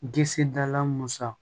Disi dala musa